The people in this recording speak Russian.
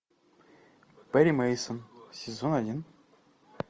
перри мейсон сезон один